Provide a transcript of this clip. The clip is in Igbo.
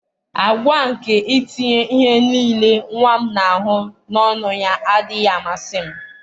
àgwà a nke itinye ihe nile nwa m na-ahụ n'ọnụ ya adịghị amasị m.